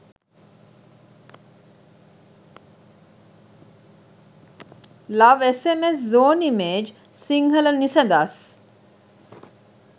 love sms zone image sinhala nisadas